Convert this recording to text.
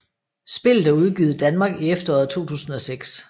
Spillet er udgivet i Danmark i efteråret 2006